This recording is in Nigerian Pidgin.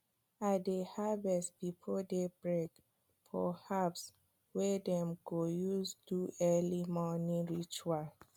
i dey harvest before day break for herbs wey dem go use do early morning ritual